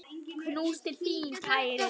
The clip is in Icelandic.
Knús til þín, kæri vinur.